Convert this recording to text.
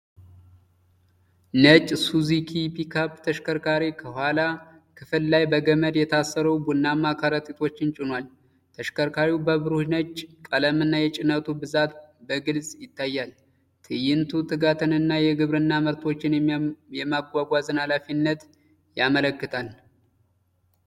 ነጭ ሱዙኪ ፒካፕ ተሽከርካሪ ከኋላ ክፍል ላይ በገመድ የታሰሩ ቡናማ ከረጢቶችን ጭኗል። ተሽከርካሪው በብሩህ ነጭ ቀለምና፣ የጭነቱ ብዛት በግልጽ ይታያል። ትዕይንቱ ትጋትንና የግብርና ምርቶችን የማጓጓዝን አስፈላጊነትን ያመለክታል።